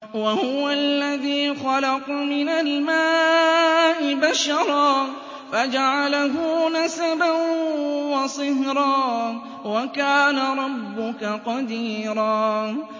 وَهُوَ الَّذِي خَلَقَ مِنَ الْمَاءِ بَشَرًا فَجَعَلَهُ نَسَبًا وَصِهْرًا ۗ وَكَانَ رَبُّكَ قَدِيرًا